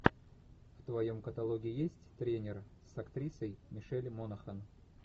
в твоем каталоге есть тренер с актрисой мишель монахэн